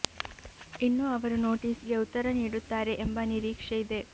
ಇನ್ನು ಅವರು ನೋಟಿಸ್ ಗೆ ಉತ್ತರ ನೀಡುತ್ತಾರೆ ಎಂಬ ನಿರೀಕ್ಷೆ ಇದೆ